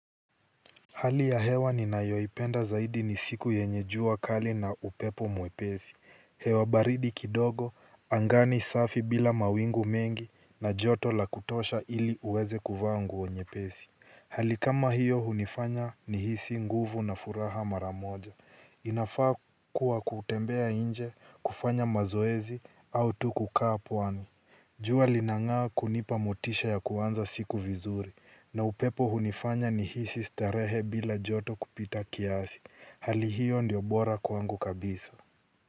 Hali ya hewa ninayoipenda zaidi ni siku yenye jua kali na upepo mwepesi. Hewa baridi kidogo, angani safi bila mawingu mengi na joto la kutosha ili uweze kuvaa nguo nyepesi. Hali kama hiyo hunifanya nihisi nguvu na furaha mara moja. Inafaa kuwa kutembea nje, kufanya mazoezi au tu kukaa pwani. Jua linang'aa kunipa motisha ya kuanza siku vizuri na upepo hunifanya nihisi starehe bila joto kupita kiasi. Hali hiyo ndiyo bora kwangu kabisa.